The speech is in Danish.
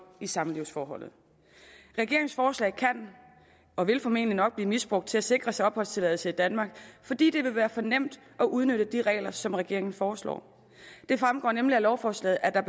i samlivsforholdet regeringens forslag kan og vil formentlig nok blive misbrugt til at sikre sig opholdstilladelse i danmark fordi det vil være for nemt at udnytte de regler som regeringen foreslår det fremgår nemlig af lovforslaget at der